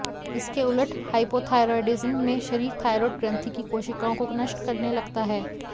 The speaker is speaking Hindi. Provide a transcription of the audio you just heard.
इसके उलट हाइपोथाइरॉयडिज्म में शरीर थाइरॉयड ग्रंथि की कोशिकाओं को नष्ट करने लगता है